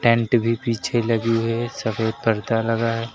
Tent भी पीछे लगी हुई है सफेद पर्दा लगा है।